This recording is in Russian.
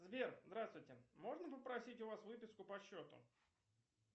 сбер здравствуйте можно попросить у вас выписку по счету